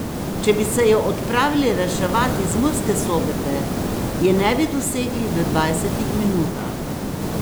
Če bi se jo odpravili reševat iz Murske Sobote, je ne bi dosegli v dvajsetih minutah.